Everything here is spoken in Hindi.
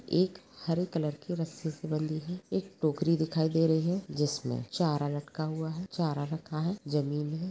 एक हरे कलर के रस्सी से बंधी है एक टोकरी दिखाई दे रही है जिसमे चारा लटका हुआ है रखा हुआ है जमीन है।